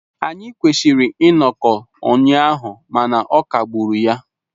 Anyị kwesịrị ịnọkọ ụnyaahụ mana ọ kagburu ya.